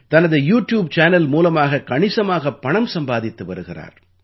தனது YouTube channel மூலமாக கணிசமாகப் பணம் சம்பாதித்து வருகிறார்